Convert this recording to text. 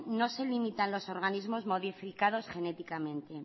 no se limitan los organismos modificados genéticamente